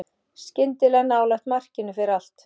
Skyndilega nálægt markinu fer allt.